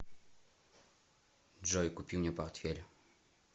джой купи мне портфель